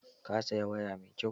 Ka saya waya mai kyau!